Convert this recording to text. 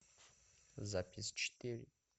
запись четыре